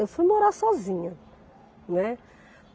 Eu fui morar sozinha, né.